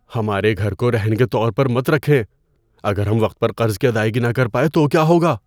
ہمارے گھر کو رہن کے طور پر مت رکھیں۔ اگر ہم وقت پر قرض کی ادائیگی نہ کر پائے تو کیا ہوگا؟